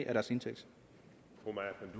af deres indtægt